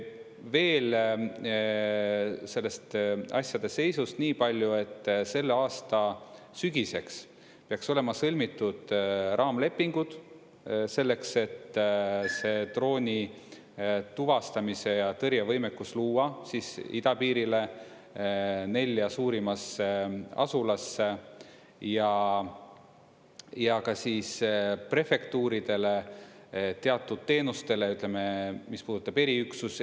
Veel sellest asjade seisust niipalju, et selle aasta sügiseks peaks olema sõlmitud raamlepingud selleks, et see droonituvastamise ja -tõrje võimekus luua idapiirile nelja suurimasse asulasse ja ka siis prefektuuridele teatud teenustele, ütleme, mis puudutab eriüksusi.